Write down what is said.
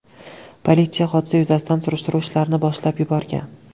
Politsiya hodisa yuzasidan surishtiruv ishlarini boshlab yuborgan.